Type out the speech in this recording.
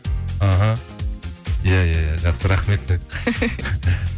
аха иә иә иә жақсы рахмет